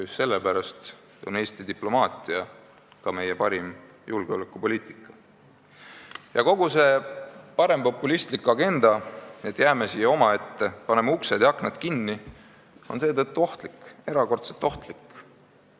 Just sellepärast on Eesti diplomaatia ka meie parim julgeolekupoliitika ja kogu see parempopulistlik agenda, et jääme siia omaette, paneme uksed ja aknad kinni, on erakordselt ohtlik.